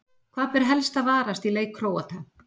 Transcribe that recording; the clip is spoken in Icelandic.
Hvað ber helst að varast í leik Króata?